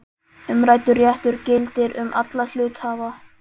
Umræddur réttur gildir um alla hluthafa.